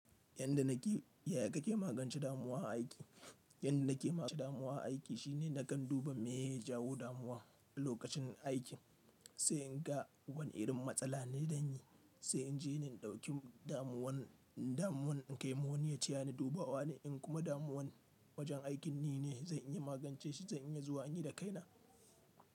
Yanda nake, ya kake magance damuwa a aiki? Yanda nake magance damuwa a aiki shine nakan duba meye ya jawo damuwa a lokacin aikin, sai in ga wani irin matsala ne danyi, sai in je ni in dauki damuwan, damuwan in kai ma wani ya tayani dubawa ne, in kuma damuwan wajen aikin nine, zan iya magance shi, zan iya zuwa in yi da kaina.